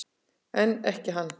En ekki hann.